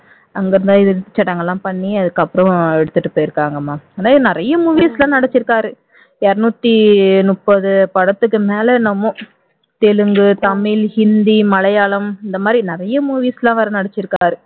அங்க இருந்து இறுதி சடங்கு எல்லாம் பண்ணி அதுக்கப்புறம் எடுத்துட்டு போயிருக்காங்கம்மா இது நிறைய movies ல நடிச்சிருக்காரு இருநூற்று முப்பது படத்துக்கு மேல என்னவோ தெலுங்கு தமிழ் ஹிந்தி மலையாளம் இந்த மாதிரி நிறைய movies ல ஒரு நடிச்சிருக்காரு